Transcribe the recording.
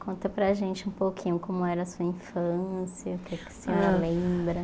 Conta para a gente um pouquinho como era a sua infância, o que é que a senhora lembra.